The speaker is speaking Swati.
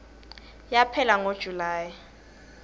yaphela ngo july